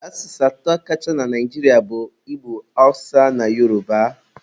Asụsụ atọ kacha na Naijiria bụ Igbo, Awụsa na Yoroba.